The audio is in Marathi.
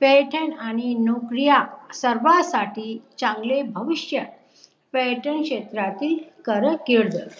पर्यटन आणि नोकऱ्या सर्वासाठी चांगले भविष्य पर्यटन क्षेत्रातीळ कार्यकिर्द